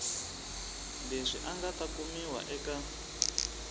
leswi nga ta kumiwa eka